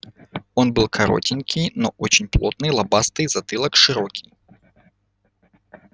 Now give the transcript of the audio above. он был коротенький но очень плотный лобастый затылок широкий